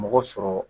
Mɔgɔ sɔrɔ